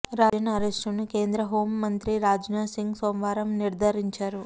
రాజన్ అరెస్టును కేంద్ర హోం మంత్రి రాజ్నాథ్ సింగ్ సోమవారం నిర్థారించారు